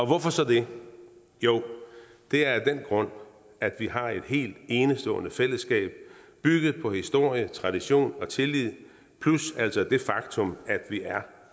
hvorfor så det jo det er af den grund at vi har et helt enestående fællesskab bygget på historie tradition og tillid plus altså det faktum at vi er